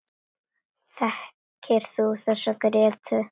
Þekkir þú þessa, Gréta?